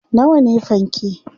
nawa ne fanke?